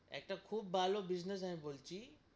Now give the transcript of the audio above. একটা খুব ভালো business আমি বলছি,